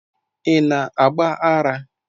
Ị na agba ara.